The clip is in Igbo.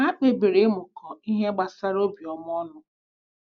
Ha kpebiri ịmụkọ ihe gbasara obiọma ọnụ.